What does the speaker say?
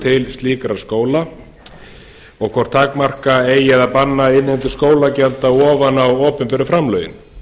til slíkra skóla og hvort takmarka eigi eða banna innheimtu skólagjalda ofan á opinberu framlögin